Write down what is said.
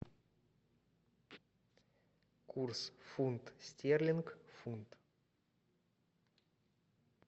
курс фунт стерлинг фунт